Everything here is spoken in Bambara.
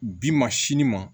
Bi ma sini ma